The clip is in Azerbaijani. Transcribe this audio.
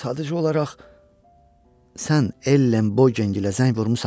Sadəcə olaraq sən Ellenbogerlərə zəng vurmusan?